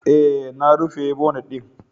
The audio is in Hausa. E, na rufe bonet ɗin.